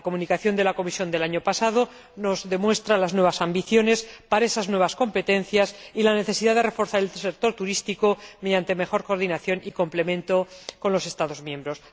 La Comunicación de la Comisión del año pasado nos demuestra las nuevas ambiciones para esas nuevas competencias y la necesidad de reforzar el sector turístico mediante una mejor coordinación y complementariedad con los Estados miembros.